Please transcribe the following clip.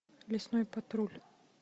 лесной патруль